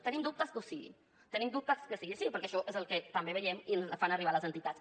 tenim dubtes que ho sigui tenim dubtes que sigui així perquè això és el que també veiem i ens fan arribar les entitats